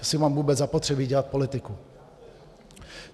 Jestli mám vůbec zapotřebí dělat politiku.